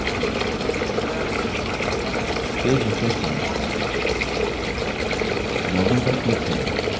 page refresh करें login पर click करें कुछ नहीं हुआ